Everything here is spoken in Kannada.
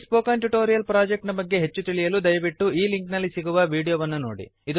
ಈ ಸ್ಪೋಕನ್ ಟ್ಯುಟೋರಿಯಲ್ ಪ್ರೊಜೆಕ್ಟ್ ನ ಬಗ್ಗೆ ಹೆಚ್ಚು ತಿಳಿಯಲು ದಯವಿಟ್ಟು ಈ ಲಿಂಕ್ ನಲ್ಲಿ ಸಿಗುವ ವೀಡಿಯೋ ವನ್ನು ನೋಡಿ